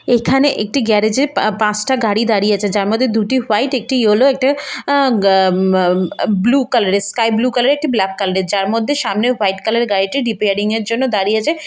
এখানে একটি গ্যারেজ -এ পা পাঁচটা গাড়ি দাঁড়িয়ে আছে যার মধ্যে দুটি হোয়াইট একটি ইয়েলো একটা উম গা মা ব্লু কালার -এর স্কাই ব্লু কালার -এর একটি ব্ল্যাক কালার -এর। যার মধ্যে সামনে হোয়াইট কালার -এর গাড়িটি রিপেয়ারিং -এর জন্য দাঁড়িয়ে আছে ।